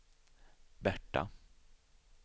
Berta